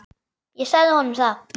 Ég sagði honum það.